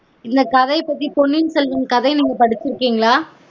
இந்த கதைய பத்தி பொன்னியின் செல்வன் கதை நீங்க படிச்சுருக்கீங்ககளா